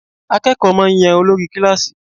Akékòó máà ń yan olórí kílàsì.